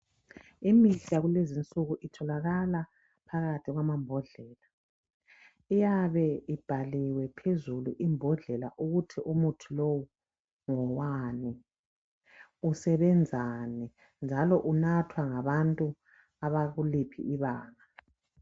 Imithi yakulezinsuku itholakala phakathi kwamambodlela ,iyabe ibhaliwe phandle ukuthi isebenzani njalo inathwa ngabantu abakuliphi ibanga